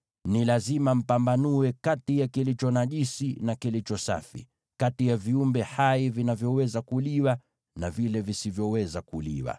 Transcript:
Ni lazima mpambanue kati ya kilicho najisi na kilicho safi, kati ya viumbe hai vinavyoweza kuliwa na vile visivyoweza kuliwa.’ ”